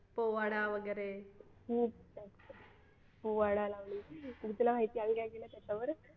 पोवाडा वगैरे तुला माहिती आम्ही काय केलं त्याच्यावर